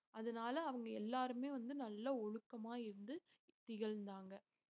அதனால அவங்க எல்லாருமே வந்து நல்ல ஒழுக்கமா இருந்து திகழ்ந்தாங்க